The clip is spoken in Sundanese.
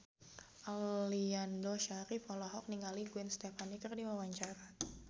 Aliando Syarif olohok ningali Gwen Stefani keur diwawancara